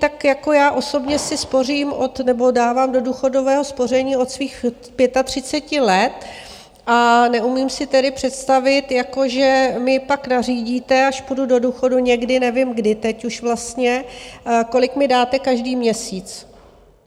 Tak jako já osobně si spořím nebo dávám do důchodového spoření od svých 35 let a neumím si tedy představit, jako že mi pak nařídíte, až půjdu do důchodu někdy, nevím kdy teď už vlastně, kolik mi dáte každý měsíc.